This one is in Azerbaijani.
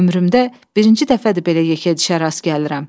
Ömrümdə birinci dəfədir belə yekədişə rast gəlirəm.